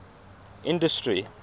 industry